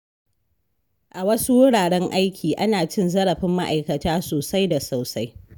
A wasu wuraren aiki, ana cin zarafin ma'aikata sosai da sosai.